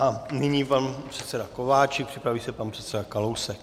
A nyní pan předseda Kováčik, připraví se pan předseda Kalousek.